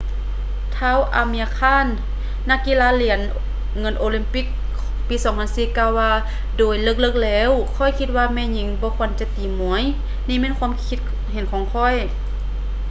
ທ້າວ ອາເມຍຣ໌ ຄານ amir khan ນັກກິລາຫຼຽນເງິນໂອລິມປິກປີ 2004 ກ່າວວ່າ ໂດຍເລິກໆແລ້ວ ຂ້ອຍຄິດວ່າແມ່ຍິງບໍ່ຄວນຈະຕີມວຍ. ນີ້ແມ່ນຄວາມຄິດເຫັນຂອງຂ້ອຍ.